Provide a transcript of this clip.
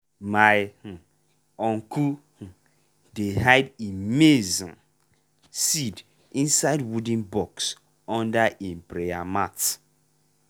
my um uncle um dey hide e maize um seed inside wooden box under e prayer mat.